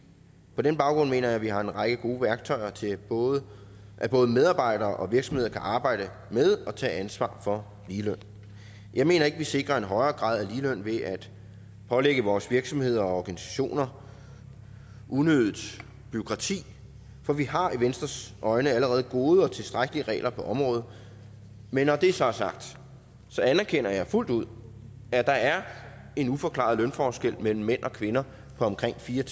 på den baggrund mener jeg at vi har en række gode værktøjer til at både at både medarbejdere og virksomheder kan arbejde med og tage ansvar for ligeløn jeg mener ikke vi sikrer en højere grad af ligeløn ved at pålægge vores virksomheder og organisationer unødigt bureaukrati for vi har i venstres øjne allerede gode og tilstrækkelige regler på området men når det så er sagt anerkender jeg fuldt ud at der er en uforklaret lønforskel mellem mænd og kvinder på omkring fire